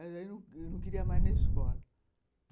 Mas aí eu não queria mais ir na escola.